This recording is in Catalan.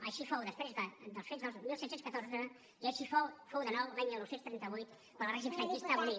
així fou després dels fets del disset deu quatre i així fou de nou l’any dinou trenta vuit quan el règim franquista abolí